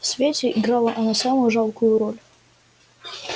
в свете играла она самую жалкую роль